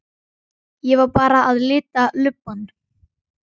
Ég var bara að lita lubbann.